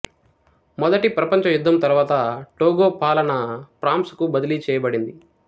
మొదటి ప్రపంచ యుద్ధం తర్వాత టోగో పాలన ఫ్రాంసుకు బదిలీ చేయబడింది